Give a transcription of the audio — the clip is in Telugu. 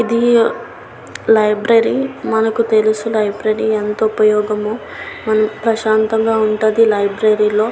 ఇది లైబ్రరీ మనకి తెలుసు లైబ్రరీ ఎంత ఉపయోగమో ప్రశాంతంగా ఉన్నది లైబ్రరీ లో --